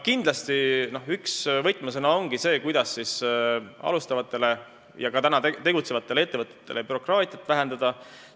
Kindlasti ongi üks võtmesõna see, kuidas alustavate ja ka juba tegutsevate ettevõtete heaks bürokraatiat vähendada.